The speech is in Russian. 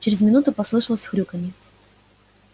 через минуту послышалось хрюканье